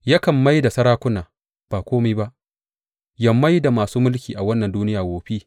Yakan mai da sarakuna ba kome ba yă mai da masu mulkin wannan duniya wofi.